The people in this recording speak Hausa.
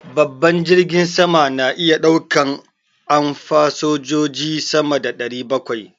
Babban jirgin sama na iya ɗaukan an fasanjoji sama da ɗari bakwai